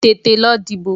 Tètè lọ dìbò!